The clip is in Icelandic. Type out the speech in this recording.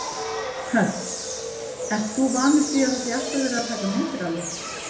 Hödd: Ert þú vanur því að það sé alltaf verið að taka myndir af þér?